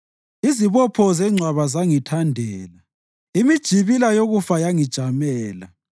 Izibopho zengcwaba zangithandela; imijibila yokufa yangijamela.